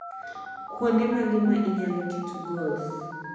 kuonde mage ma inyalo keto goals